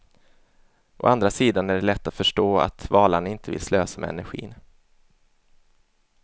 Å andra sidan är det lätt att förstå, att valarna inte vill slösa med energin.